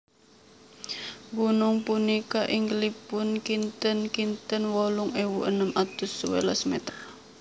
Gunung punika inggilipun kinten kinten wolung ewu enem atus sewelas mèter